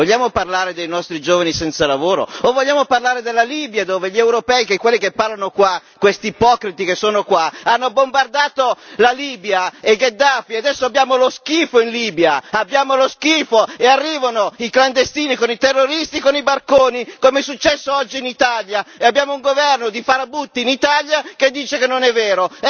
Vogliamo parlare dei nostri giovani senza lavoro? O vogliamo parlare della Libia? Dove gli europei, quelli che parlano qua, questi ipocriti che sono qua, hanno bombardato la Libia e Gheddafi, e adesso abbiamo lo schifo, in Libia. Abbiamo lo schifo e arrivano i clandestini con i terroristi, con i barconi, come è successo oggi in Italia. E abbiamo un governo di farabutti in Italia che dice che non è vero.